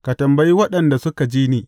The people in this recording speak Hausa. Ka tambayi waɗanda suka ji ni.